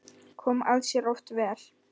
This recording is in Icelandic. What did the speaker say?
Kom það sér oft vel.